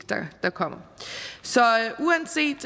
der kommer så uanset